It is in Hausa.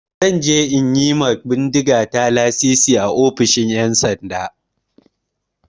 Zan je in yi ma bindigata lasisi a ofishin 'yansanda.